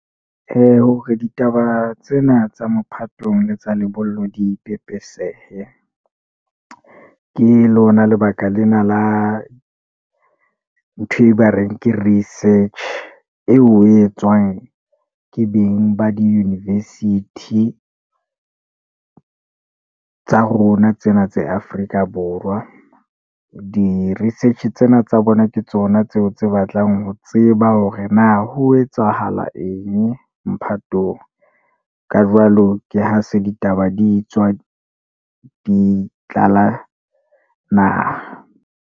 Hore ditaba tsena tsa mophatong le tsa lebollong di pepesehe, ke lona lebaka lena la ntho e ba reng ke research. Eo etswang ke beng ba di-university tsa rona tsena tse Afrika Borwa. Di-research-e tsena tsa bona ke tsona tseo tse batlang ho tseba hore na ho etsahala eng mophatong? Ka jwalo ke ha se ditaba di tswa di tlala naha.